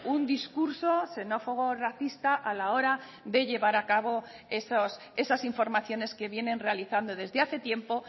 un discurso xenófobo o racista a la hora de llevar a cabo esas informaciones que vienen realizando desde hace tiempo